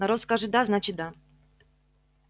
народ скажет да значит да